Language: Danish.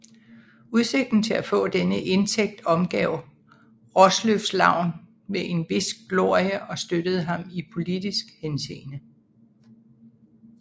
Udsigten til at få denne indtægt omgav Raasløffs navn med en vis glorie og støttede ham i politisk henseende